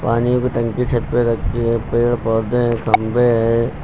पानी की टंकी छत पे रखी है पेड़ पौधे हैं खंबे हैं।